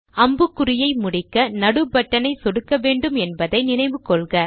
அம்புக்குறியை முடிக்க நடுபட்டனை சொடுக்க வேண்டும் என்பதை நினைவில்கொள்க